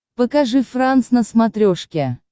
покажи франс на смотрешке